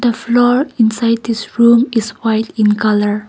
floor inside this room is white in colour.